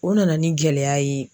O nana ni gɛlɛya ye.